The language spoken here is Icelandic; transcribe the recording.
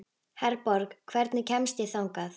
Herborg, hvernig kemst ég þangað?